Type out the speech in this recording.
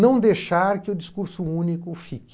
não deixar que o discurso único fique.